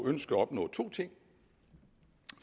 ønsket at opnå to ting